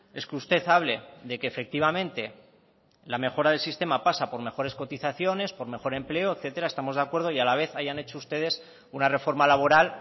es que usted hable de que efectivamente la mejora del sistema pasa por mejores cotizaciones por mejor empleo etcétera estamos de acuerdo y a la vez hayan hecho ustedes una reforma laboral